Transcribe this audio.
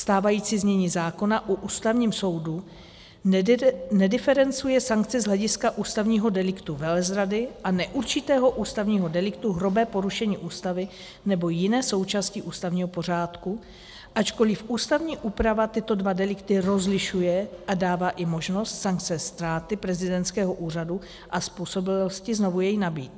Stávající znění zákona o Ústavním soudu nediferencuje sankce z hlediska ústavního deliktu velezrady a neurčitého ústavního deliktu hrubé porušení Ústavy nebo jiné součásti ústavního pořádku, ačkoliv ústavní úprava tyto dva delikty rozlišuje a dává i možnost sankce ztráty prezidentského úřadu a způsobilosti znovu jej nabýt.